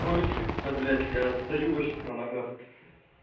то лежит-то да блять я остаюсь на ногах